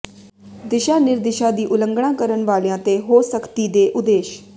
ਦਿਸ਼ਾ ਨਿਰਦਿਸ਼ਾ ਦੀ ਉਲੰਘਣਾ ਕਰਨ ਵਾਲਿਆਂ ਤੇ ਹੋ ਸਖਤੀ ਦੇ ਉਦੇਸ਼